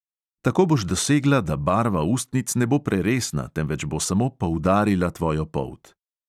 Tako boš dosegla, da barva ustnic ne bo preresna, temveč bo samo poudarila tvojo polt.